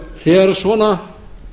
þegar svona